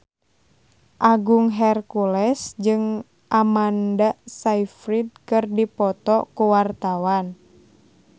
Agung Hercules jeung Amanda Sayfried keur dipoto ku wartawan